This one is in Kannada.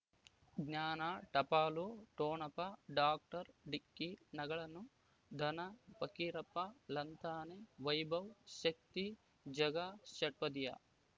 ಜ್ಞಾನ ಟಪಾಲು ಠೊಣಪ ಡಾಕ್ಟರ್ ಢಿಕ್ಕಿ ಣಗಳನು ಧನ ಫಕೀರಪ್ಪ ಳಂತಾನೆ ವೈಭವ್ ಶಕ್ತಿ ಝಗಾ ಷಟ್ಪದಿಯ